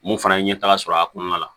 Mun fana ye ɲɛtaga sɔrɔ a kɔnɔna la